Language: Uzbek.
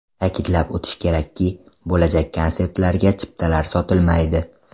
Ta’kidlab o‘tish kerakki, bo‘lajak konsertlarga chiptalar sotilmaydi.